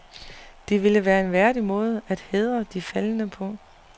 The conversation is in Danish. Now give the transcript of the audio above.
Det ville være en værdig måde at hædre de faldne på.